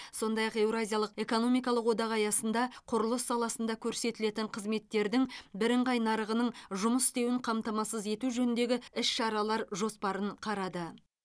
сондай ақ еуразиялық экономикалық одақ аясында құрылыс саласында көрсетілетін қызметтердің бірыңғай нарығының жұмыс істеуін қамтамасыз ету жөніндегі іс шаралар жоспарын қарады